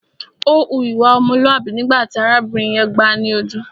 Ó hu ìwà ọmọlúàbí nígbà tí arábìnrin yẹn gbáà ni ojú.